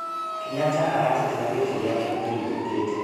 Kenyatta aratetera gĩtĩ gĩake mweri ũkĩte.